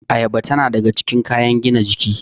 Ayaba tana daga cikin kayan gina jiki